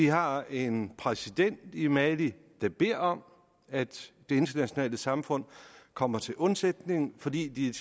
har en præsident i mali der beder om at det internationale samfund kommer til undsætning fordi de